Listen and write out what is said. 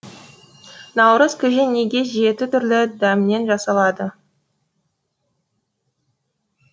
наурыз көже неге жеті түрлі дәмнен жасалады